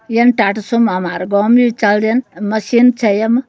यन टाटा सुम हमरो गौं मि चल दिन मशीन छ ये म।